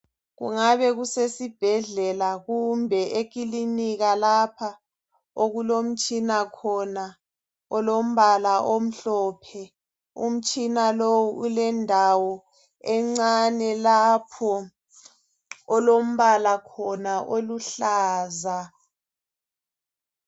Kungabe kusesibhedlella kumbe ekilinika lapha okulomtshina khona olombala omhlophe, umtshina lo ulendawo encane lapho olombala khona oluhlaza.